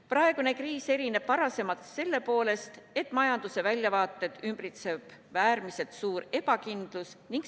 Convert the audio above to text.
Praegune kriis erineb varasematest selle poolest, et majanduse väljavaateid ümbritseb äärmiselt suur ebakindlus.